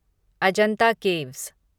Ajanta caves